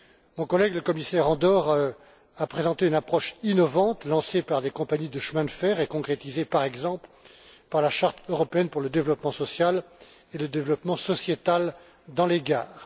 Mon collègue, le commissaire Andor, a présenté une approche innovante lancée par des compagnies de chemin de fer et concrétisée, par exemple, par la charte européenne pour le développement social et le développement sociétal dans les gares.